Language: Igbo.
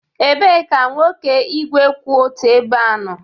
Ebee ka nwoke igwe kwụ otu ebe nọ?